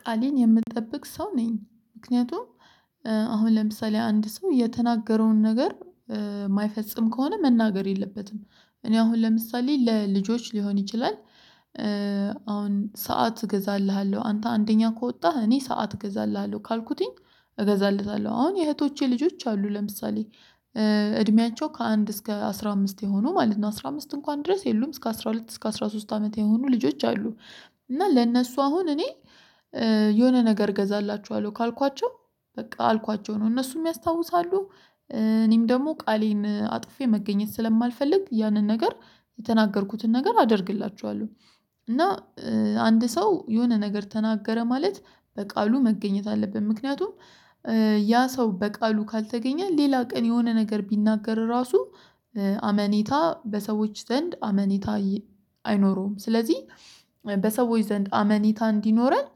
ቃሌን የምጠብቅ ሰው ነኝ ምክንያቱም አሁን ለምሳሌ አንድ ሰው የተናገረውን ነገር የማይፈጽም ከሆነ መናገር የለበትም እኔ አሁን ለምሳሌ ለልጆች ሊሆን ይችላል። ሰዓት እገዛልሃለሁ አንተ አንደኛ ከወጣህ እኔ ሰዓት እገዛልሃለሁ ካልኩትኝ እገዛለታለሁ አሁን የእህቶቼ ልጆች አሉ ለምሳሌ እድሜያቸው ከአንድ እስከ አስራ አምስት የሆኑ ማለት ነው አስራ አምስት እንኳን ድረስ የሉም እስከ አስራ ሁለት እስከ አስራ ሶስት አመት የሆኑ ልጆች አሉ። እና ለእነሱ አሁን እኔ የሆነ ነገር እገዛላችኋለሁ ካልኳቸው በቃ አልኳቸው ነው እነሱም ያስታውሳሉ እኔም ደግሞ ቃሌን አጥፌ መገኘት ስለማልፈልግ ያንን ነገር የተናገርኩትን ነገር አደርግላችኋለሁ። እና አንድ ሰው የሆነ ነገር ተናገረ ማለት በቃሉ መገኘት አለብን። ምክንያቱም ያ ሰው በቃሉ ካልተገኘ ሌላ ቀን የሆነ ነገር ቢናገር ራሱ አመኔታ በሰዎች ዘንድ አመኔታ አይኖረውም። ስለዚህ በሰዎች ዘንድ አመኔታ እንዲኖረን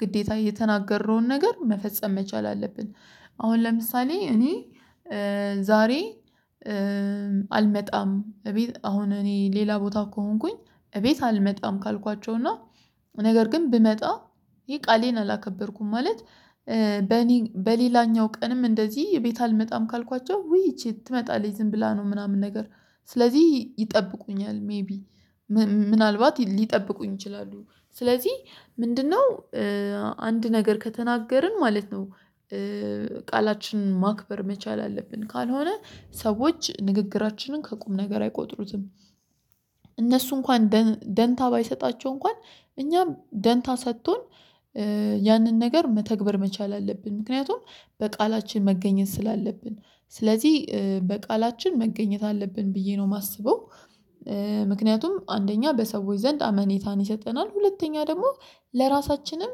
ግዴታ የተናገረውን ነገር መፈጸም መቻል አለብን። አሁን ለምሳሌ እኔ ዛሬ አልመጣም እቤት አሁን እኔ ሌላ ቦታ ከሆንኩኝ እቤት አልመጣም። ካልኳቸው እና ነገር ግን ብመጣ ይሄ ቃሌን አላከበርኩም። ማለት በሌላኛው ቀንም እንደዚህ ቤት አልመጣም ካልኳቸው ውይ ይቺ ትመጣለች ዝም ብላ ነው ምናምን ነገር ስለዚህ ይጠብቁኛል ሜይቢ ምናልባት ሊጠብቁኝ ይችላሉ። ስለዚህ ምንድነው? አንድ ነገር ከተናገርን ማለት ነው ቃላችንን ማክበር መቻል አለብን ካልሆነ ሰዎች ንግግራችንን ከቁም ነገር አይቆጥሩትም። እነሱ እንኳን ደንታ ባይሰጣቸው እንኳን እኛም ደንታ ሰጥቶን ያንን ነገር መተግበር መቻል አለብን። ምክንያቱም በቃላችን መገኘት ስላለብን ስለዚህ በቃላችን መገኘት አለብን ብዬ ነው የማስበው። አንደኛ በሰዎች ዘንድ አመኔታን ይሰጠናል ሁለተኛ ደግሞ ለራሳችንም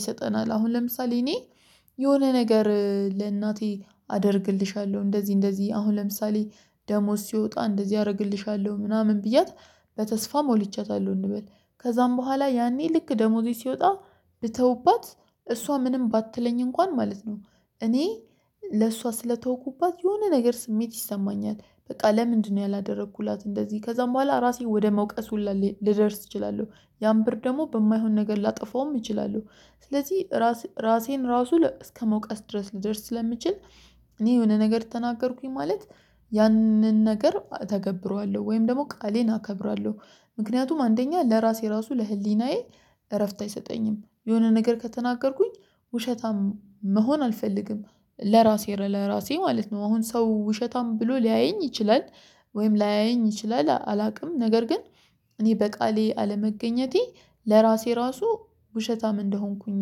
ይሰጠናል። አሁን ለምሳሌ እኔ የሆነ ነገር ለእናቴ አደርግልሻለሁ እንደዚህ እንደዚህ አሁን ለምሳሌ ደሞዝ ሲወጣ እንደዚህ አደርግልሻለሁ ምናምን ብያት። በተስፋ ሞልቻታለሁ እንበል ከዛም በኋላ ያኔ ልክ ደሞዜ ሲወጣ ብተውባት እሷ ምንም ባትለኝ እንኳን ማለት ነው እኔ ለእሷ ስለተውኩባት የሆነ ነገር ስሜት ይሰማኛል። በቃ ለምንድነው ያላደረኩላት እንደዚህ ከዛም በኋላ ራሴ ወደ መውቀስ ሁላ ልደርስ እችላለሁ። ያም ብር ደግሞ በማይሆን ነገር ላጠፋውም እችላለሁ። ስለዚህ ራሴን ራሱ እስከመውቀስ ድረስ ልደርስ ስለምችል። እኔ የሆነ ነገር ተናገርኩኝ ማለት ያንን ነገር እተገብረዋለሁ ወይም ደግሞ ቃሌን አከብራለሁ። ምክንያቱም አንደኛ ለራሴ ራሱ ለህሊናዬ እረፍት አይሰጠኝም። የሆነ ነገር ከተናገርኩኝ ውሸታም መሆን አልፈልግም። ለራሴ ለራሴ ማለት ነው አሁን ሰው ውሸታም ብሎ ሊያየኝ ይችላል ወይም ላያየኝ ይችላል አላውቅም። ነገር ግን እኔ በቃሌ አለመገኘቴ ለራሴ ራሱ ውሸታም እንደሆንኩኝ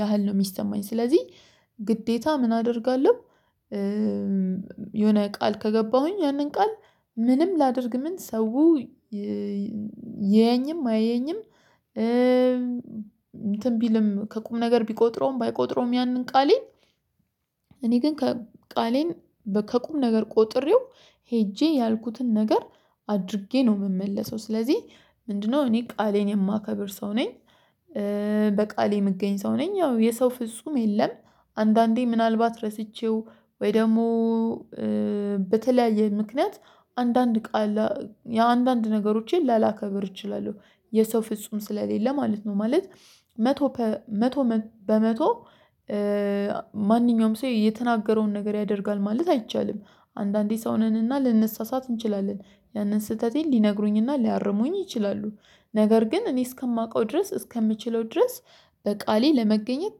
ያህል ነው የሚሰማኝ። ስለዚህ ግዴታ ምን አደርጋለሁ? የሆነ ቃል ከገባሁኝ ያንን ቃል ምንም ላድርግ ምን ሰው ይየኝም አየኝም እንትን ቢልም ከቁም ነገር ቢቆጥረውም ባይቆጥረውም ያንን ቃሌን እኔ ግን ቃሌን ከቁም ነገር ቆጥሬው ሄጄ ያልኩትን ነገር አድርጌ ነው የምመለሰው። ስለዚህ ምንድነው እኔ ቃሌን የማከብር ሰው ነኝ። በቃሌ የምገኝ ሰው ነኝ ያው የሰው ፍጹም የለም። አንዳንዴ ምናልባት ረስቸው ወይ ደግሞ በተለያየ ምክንያት አንዳንድ ቃል የአንዳንድ ነገሮችን ላላከብር እችላለሁ። የሰው ፍጹም ስለሌለ ማለት ነው ማለት መቶ መቶ በመቶ ማንኛውም ሰው የተናገረውን ነገር ያደርጋል ማለት አይቻልም። አንዳንዴ ሰው ነንና ልንሰሳሳት እንችላለን። ያንን ስህተቴን ሊነግሩኝና ሊያርሙኝ ይችላሉ። ነገር ግን እኔ እስከማውቀው ድረስ እስከምችለው ድረስ በቃሌ ለመገኘት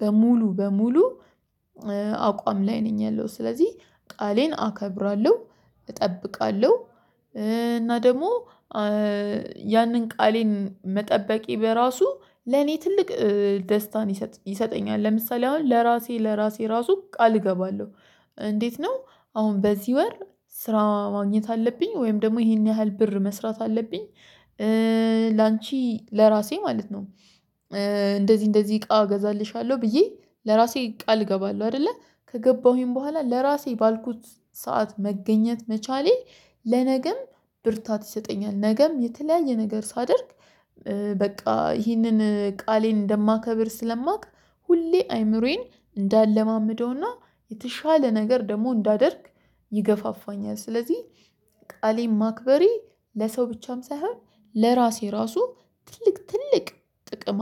በሙሉ በሙሉ አቋም ላይ ነው ያለው ስለዚህ ቃሌን አከብራለሁ። እጠብቃለሁ እና ደግሞ ያንን ቃሌን መጠበቄ በራሱ ለኔ ትልቅ ደስታን ይሰጠኛል። ለምሳሌ አሁን ለራሴ ለራሴ ራሱ ቃል እገባለሁ። እንዴት ነው? አሁን በዚህ ወር ስራ ማግኘት አለብኝ ወይም ደግሞ ይሄን ያህል ብር መስራት አለብኝ። ላንቺ ለራሴ ማለት ነው። እንደዚህ እንደዚህ እቃ እገዛልሻለሁ ብዬ ለራሴ ቃል እገባለሁ አይደለ ከገባሁኝ በኋላ ለራሴ ባልኩት ሰዓት መገኘት መቻሌ። ለነገም ብርታት ይሰጠኛል። ነገም የተለያየ ነገር ሳደርግ በቃ ይህንን ቃሌን እንደማከብር ስለማውቅ ሁሌ አይምሮዬን እንዳለማምደውና የተሻለ ነገር ደግሞ እንዳደርግ ይገፋፋኛል። ስለዚህ ቃሌን ማክበሬ ለሰው ብቻም ሳይሆን ለራሴ ራሱ ትልቅ ትልቅ ጥቅም